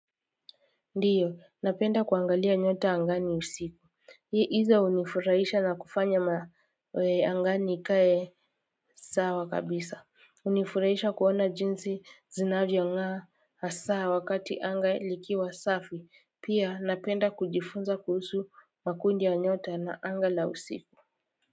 Ndiyo napenda kuangalia nyota angani usiku hii hizo hunifurahisha na kufanya mawe angani ikae sawa kabisa hunifurahisha kuona jinsi zinavyo ngaa hasaa wakati anga likiwa safi pia napenda kujifunza kuhusu makundi ya nyota na anga la usiku.